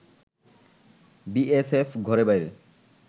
BSF ঘরে-বাইরে